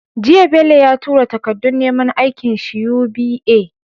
Jiya Bello ya tura takadun neman aikin shi UBA?